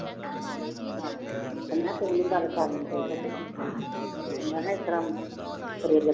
ਤੇ ਮੈਂ ਕਿਹਾ ਤੂੰ ਨੀ ਗੱਲ ਕਰਨੀ ਕੋਈ ਪੁੱਤ ਮੈਂ ਇਸ ਤਰ੍ਹਾਂ